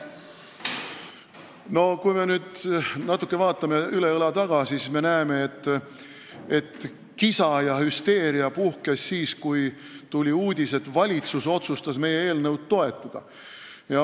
Kui me vaatame natuke üle õla tagasi, siis me näeme, et kisa ja hüsteeria puhkes siis, kui tuli uudis, et valitsus otsustas meie eelnõu toetada.